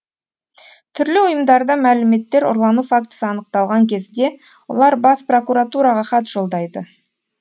түрлі ұйымдарда мәліметтер ұрлану фактісі анықталған кезде олар бас прокуратураға хат жолдайды